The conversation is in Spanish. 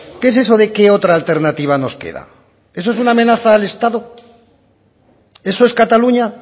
qué es eso de qué otra alternativa nos queda eso es una amenaza al estado eso es cataluña